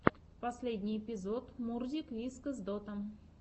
последний эпизод мурзик вискас дота